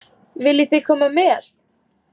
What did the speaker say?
Viljið þið koma með?